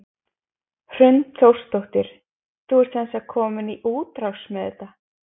Hrund Þórsdóttir: Þú ert sem sagt komin í útrás með þetta?